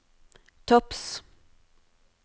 topps